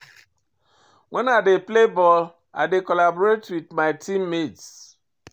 Wen I dey play ball, I dey collaborate wit my team mates.